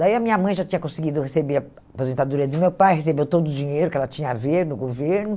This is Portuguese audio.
Daí a minha mãe já tinha conseguido receber a aposentadoria do meu pai, recebeu todo o dinheiro que ela tinha a ver no governo.